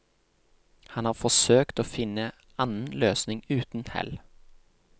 Han har forsøkt å finne annen løsning uten hell.